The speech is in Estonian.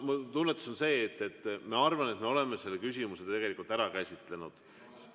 Mu tunnetus on see, et minu arvates me oleme selle küsimuse tegelikult ära käsitlenud.